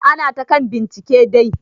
Ana ta kan bincike dai.